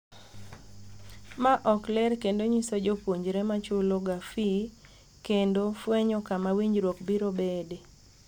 Ma ok ler kendo nyiso jopuonjre machulo ga fee kendo fwenyo kama winjruok biro bede.